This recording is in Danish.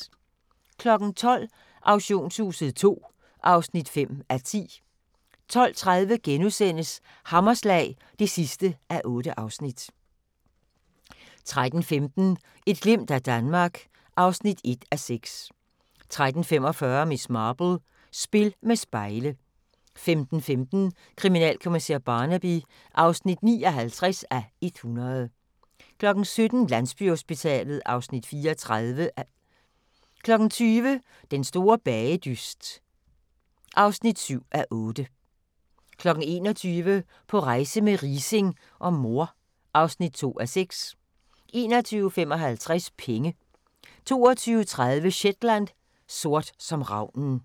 12:00: Auktionshuset II (5:10) 12:30: Hammerslag (8:8)* 13:15: Et glimt af Danmark (1:6) 13:45: Miss Marple: Spil med spejle 15:15: Kriminalkommissær Barnaby (59:100) 17:00: Landsbyhospitalet (Afs. 34) 20:00: Den store bagedyst (7:8) 21:00: På rejse med Riising og mor (2:6) 21:55: Penge 22:30: Shetland: Sort som ravnen